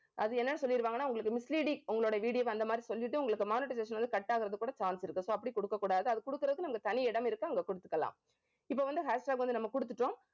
அது என்னன்னு சொல்லிருவாங்கன்னா உங்களுக்கு misleading உங்களோட video அந்த மாதிரி சொல்லிட்டு உங்களுக்கு monetization வந்து cut ஆகறதுக்கு கூட chance இருக்கு. so அப்படி கொடுக்கக் கூடாது. அது கொடுக்குறதுக்கு நமக்கு தனி இடம் இருக்கு அங்க கொடுத்துக்கலாம் இப்ப வந்து hashtag வந்து நம்ம குடுத்துட்டோம்